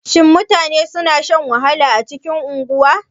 Shin mutane suna shan wahala a cikin unguwa?